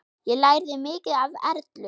Ég lærði mikið af Erlu.